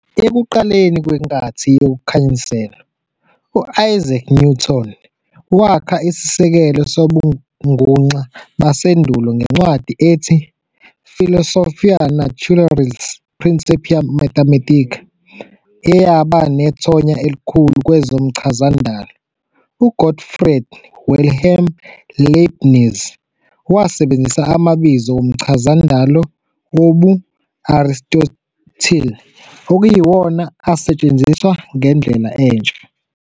Ekuqaleni kwenkathi yokukhanyiselwa, uIsaac Newton wakha isisekelo sobunguxa basendulo ngencwadi ethi "Philosophiae Naturalis Principia Mathematica", eyaba nethonya elikhulu kwezomchazandalo. U-Gottfried Wilhelm Leibniz wasebenzisa amabizo womchazandalo wobu-Aristotile, okuyiwona asetshenziswa ngendlela entsha.